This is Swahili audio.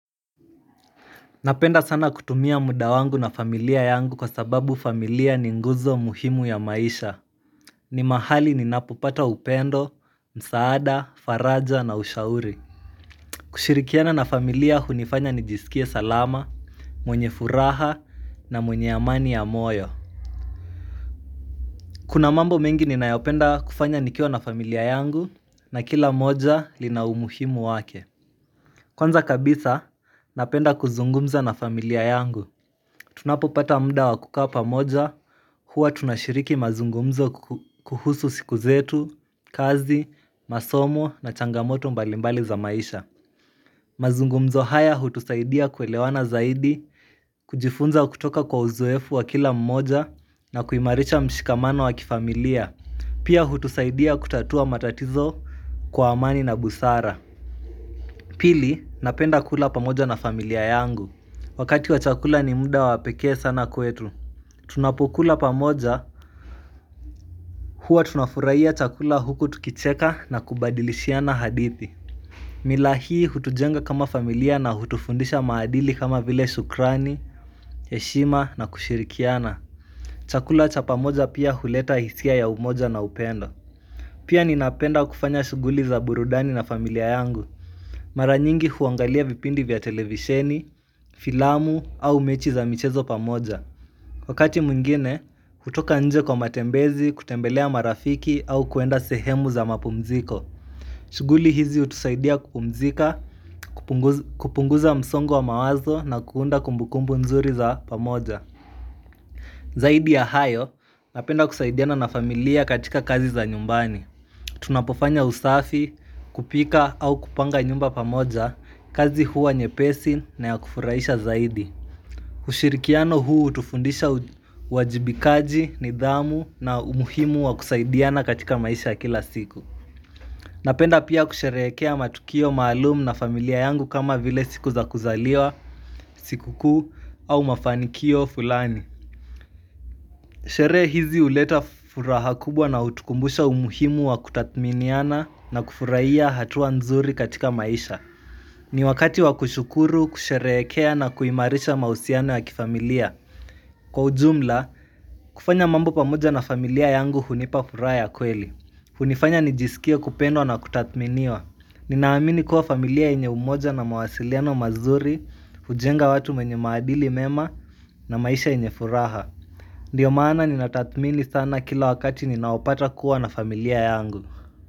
Napenda sana kutumia muda wangu na familia yangu kwa sababu familia ni nguzo muhimu ya maisha ni mahali ninapopata upendo, msaada, faraja na ushauri kushirikiana na familia hunifanya nijisikie salama, mwenye furaha na mwenye amani ya moyo Kuna mambo mengi ninayopenda kufanya nikiwa na familia yangu, na kila moja lina umuhimu wake. Kwanza kabisa napenda kuzungumza na familia yangu. Tunapopata muda wa kukaa pamoja, huwa tunashiriki mazungumzo kuhusu siku zetu, kazi, masomo na changamoto mbalimbali za maisha. Mazungumzo haya hutusaidia kuelewana zaidi, kujifunza kutoka kwa uzoefu wa kila mmoja na kuimarisha mshikamano wa kifamilia. Pia hutusaidia kutatua matatizo kwa amani na busara. Pili, napenda kula pamoja na familia yangu wakati wa chakula ni muda wa pekee sana kwetu. Tunapokula pamoja huwa tunafurahia chakula huku tukicheka na kubadilishiana hadithi mila hii hutujenga kama familia na hutufundisha maadili kama vile shukrani, heshima na kushirikiana Chakula cha pamoja pia huleta hisia ya umoja na upendo Pia ninapenda kufanya shughuli za burudani na familia yangu. Mara nyingi huangalia vipindi vya televisheni, filamu au mechi za michezo pamoja. Wakati mwingine, hutoka nje kwa matembezi, kutembelea marafiki au kuenda sehemu za mapumziko. Shughuli hizi hutusaidia kupumzika, kupunguza msongo wa mawazo na kuunda kumbukumbu nzuri za pamoja. Zaidi ya hayo, napenda kusaidiana na familia katika kazi za nyumbani. Tunapofanya usafi, kupika au kupanga nyumba pamoja, kazi huwa nyepesi na ya kufurahisha zaidi. Ushirikiano huu hutufundisha uwajibikaji, nidhamu na umuhimu wa kusaidiana katika maisha ya kila siku Napenda pia kusherehekea matukio maalumu na familia yangu kama vile siku za kuzaliwa, siku kuu au mafanikio fulani Sherehe hizi huleta furaha kubwa na hutukumbusha umuhimu wa kutathminiana na kufurahia hatua nzuri katika maisha ni wakati wa kushukuru, kusherehekea na kuimarisha mahusiano ya kifamilia. Kwa ujumla, kufanya mambo pamoja na familia yangu hunipa furaha ya kweli. Hunifanya nijisikie kupendwa na kutathminiwa Ninaamini kuwa familia yenye umoja na mawasiliano mazuri hujenga watu wenye maadili mema na maisha yenye furaha. Ndio maana ninatathmini sana kila wakati ninaopata kuwa na familia yangu.